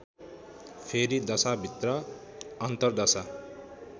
फेरि दशाभित्र अन्तरदशा